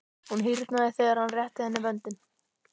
Hún hýrnaði þegar hann rétti henni vöndinn.